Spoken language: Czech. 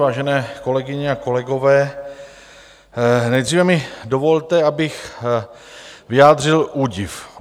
Vážené kolegyně a kolegové, nejdříve mi dovolte, abych vyjádřil údiv.